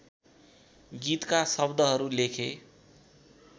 गीतका शव्दहरू लेखे